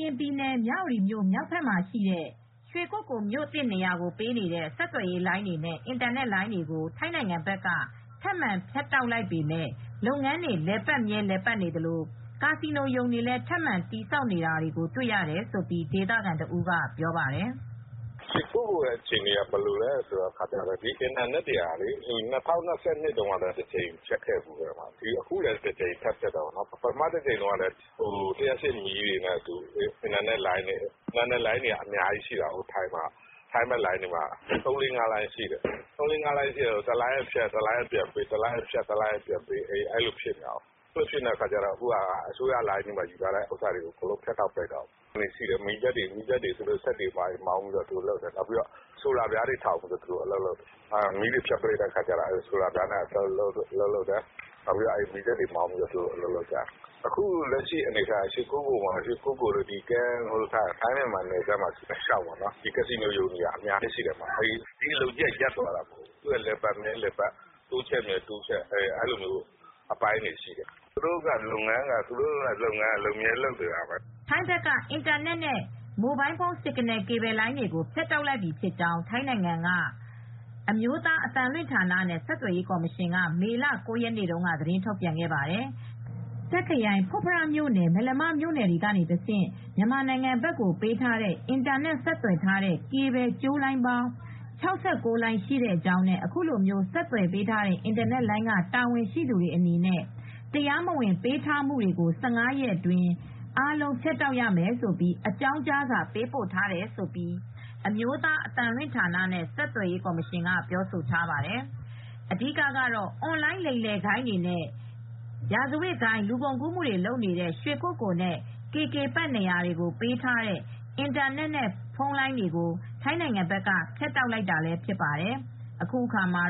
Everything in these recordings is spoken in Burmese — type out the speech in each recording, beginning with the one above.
ရင်ပြည်နယ်၊ မြဝတီမြို့မြောက်ဘက်ရှိ ရွှေကုက္ကိုမြို့နေရာကိုပေးနေတဲ့ ဆက်သွယ်ရေးလိုင်းများနဲ့ အင်တာနက်လိုင်းတွေကို ထိုင်းနိုင်ငံဘက်က ထပ်မံဖြတ်တောက်လိုက်ပေမဲ့ လုပ်ငန်းတွေကတော့ ဆက်ပြီး လည်ပတ်မြဲလည်ပတ်နေသလို ကာစီနိုရုံတွေကိုလည်း ထပ်ပြီးဆောက်နေတာ တွေ့နေရတယ်လို့ ဒေသခံတဦးကပြောပါတယ်။ "ရွှေကုက္ကိုရဲ့အခြေအနေက ဘယ်လိုလဲဆိုတော့ အင်တာနက်တွေက ၂၀၂၂ ခုနှစ်တုန်းက တကြိမ်ဖြတ်ခဲ့တယ်။ အခုလည်းတကြိမ်ထပ်ဖြတ်ထားတယ်။ ပထမတကြိမ်တုန်းကလည်း လျှပ်စစ်မီးတွေနဲ့အတူ အင်တာနက်လိုင်းတွေဖြတ်တယ်။ အင်တာနက်လိုင်းကလည်း ထိုင်းဘက်က အများကြီးရှိတယ်။ တလိုင်းကနေဖြတ်ရင် နောက်တလိုင်းပေးတယ်။ အခုကတော့ အစိုးရလိုင်းတွေကတော့ အကုန်လုံးဖြတ်ပစ်တယ်။ သူတို့ကတော့မီးစက်တွေမောင်း၊ ဆိုလာပြားတွေထောင်ပြီး အလုပ်လုပ်ကြတယ်။ မီးဖြတ်တော့လည်းအဲဒီလိုလုပ်တယ်။ အခုဆိုရင် ရွှေကုက္ကိုအပြင် ထိုင်းမြန်မာနယ်စပ်တလျှောက်မှာ ကာစီနိုရုံတွေက အများကြီးရှိတယ်။ ဒီအလုပ်ကြီးကရပ်သွားတာမဟုတ်ဘူး။ သူတို့က လည်ပတ်မြဲ လည်ပတ်တယ်။ တိုးချဲ့မြဲတိုးချဲ့ပြီး အဲဒီလိုအပိုင်းတွေဖြစ်တယ်။" ထိုင်းဘက်က အင်တာနက်နဲ့ မိုဘိုင်းဖုန်း Signal ကေဘယ်လိုင်းတွေကို ဖြတ်တောက်လိုက်ပြီဖြစ်ကြောင်း ထိုင်းနိုင်ငံက National Broadcasting and Telecommunication Commission (အမျိုးသား အသံလွှင့်ဌာနနဲ့ ဆက်သွယ်ရေးကော်မရှင်) က မေလ ၉ ရက်နေ့က သတင်းထုတ်ပြန်ခဲ့ပါတယ်။ တာ့ခ်ခရိုင် ဖွတ်ဖရမြို့နယ် မယ်လမမြို့နယ်ကနေတဆင့် မြန်မာဘက်ကိုပေးထားတဲ့ အင်တာနက် ကေဘယ်ကြိုးလိုင်းပေါင်း ၆၉ လိုင်း ရှိကြောင်းနဲ့ အခုလိုဆက်သွယ်ပေးထားတဲ့ အင်တာနက်လိုင်းက တာဝန်ရှိသူတွေအနေနဲ့ တရားမဝင်ပေးထားတာတွေကို ၁၅ ရက်အတွင်း အားလုံး ဖြတ်တောက်ရမယ်လို့ အကြောင်းကြားစာပို့ထားကြောင်း အမျိုးသား အသံလွှင့်ဌာနနဲ့ ဆက်သွယ်ရေးကော်မရှင်က ပြောထားပါတယ်။ အဓိကတော့ အွန်လိုင်းလိမ်လည်ဂိုဏ်းတွေနဲ့ လူကုန်ကူးနေတဲ့ ရာဇဝတ်ဂိုဏ်း၊ ရွှေကုက္ကိုလ်နဲ့ KK Park နေရာတွေကိုပေးထားတဲ့ အင်တာနက်နဲ့ဖုန်းလိုင်းတွေကို ထိုင်းဘက်က ဖြတ်တောက်လိုက်တာဖြစ်ပါတယ်။ အခုအခါမှာ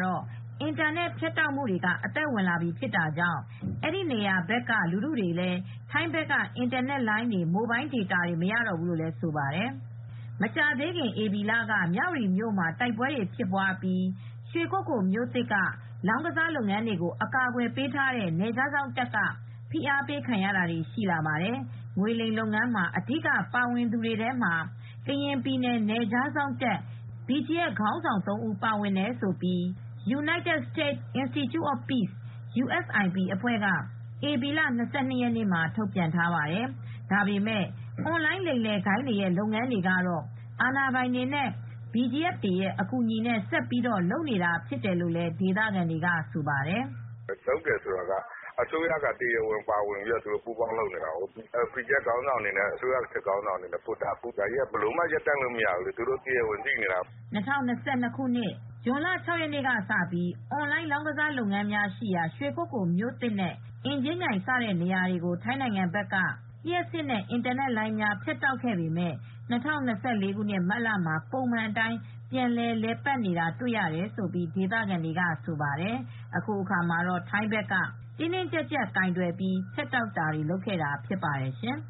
အင်တာနက်ဖြတ်တောက်မှုတွေ အသက်ဝင်ပြီဖြစ်တာကြောင့် အဲဒီနေရာတွေဘက်က လူထုလည်း ထိုင်းဘက်ကအင်တာနက်လိုင်းတွေ Mobile Data တွေ မရတော့ဘူးလို့ဆိုပါတယ်။ မကြာသေးခင် ဧပြီလက မြဝတီမြို့မှာတိုက်ပွဲတွေဖြစ်အပြီး ရွှေကုက္ကိုမြို့သစ်က လောင်းကစားလုပ်ငန်းတွေကို အကာကွယ်ပေးထားတဲ့ နယ်ခြားစောင့်တပ်က ဖိအားပေးခံရတာတွေ ရှိလာပါတယ်။ ငွေလိမ်လုပ်ငန်းမှာ အဓိကပါဝင်သူတွေထဲ ကရင်ပြည်နယ် နယ်ခြားစောင့်တပ် BGF ခေါင်းဆောင် ၃ ဦးပါဝင်တယ်လို့ United States Institute of Peace (USIP) အဖွဲ့က ဧပြီလ ၂၂ ရက်နေ့မှာ ထုတ်ပြန်ထားပါတယ်။ ဒါပေမယ့် အွန်လိုင်းလိမ်လည်ဂိုဏ်းတွေရဲ့လုပ်ငန်းတွေကတော့ အာဏာပိုင်တွေနဲ့ BGF တွေရဲ့အကူအညီနဲ့ ဆက်ပြီးလုပ်နေတာဖြစ်တယ်လို့လည်း ဒေသခံကဆိုပါတယ်။ "သူတို့က အစိုးရခေါင်ဆောင်တွေသိပြီး လုပ်နေတာပဲ။ အစိုးရစစ်ခေါင်းဆောင်တွေနဲ့ BGF တွေက သိနေတာပဲ။ ဒါတွေက ရပ်တန့်လို့မရဘူး။ လုပ်နေကြတာပဲ။" ၂၀၂၂ ခုနှစ်၊ ဇွန်လ ၆ ရက်နေ့ကနေစပြီး − အွန်လိုင်းလောင်းကစားလုပ်ငန်းတွေရှိရာ ရွှေကုက္ကိုမြို့သစ်နဲ့ အင်ကြင်းမြိုင်စတဲ့ နေရာတွေကို ထိုင်းနိုင်ငံဘက်က လျှပ်စစ်နဲ့အင်တာနက်လိုင်းတွေ ဖြတ်တောက်ခဲ့ပေမယ့် ၂၀၂၄ မတ်လမှာ ပုံမှန်အတိုင်း ပြန်လည်လည်ပတ်နေတာတွေ့ရတယ်လို့ ဒေသခံတွေကဆိုပါတယ်။ အခုအခါမှာတော့ ထိုင်းဘက်က တင်းတင်းကြပ်ကြပ်ကိုင်တွယ်ပြီး ဖြတ်တောက်ခဲ့တာဖြစ်ပါတယ်ရှင်။